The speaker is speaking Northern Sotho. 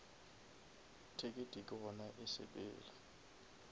ticket ke gona e sepela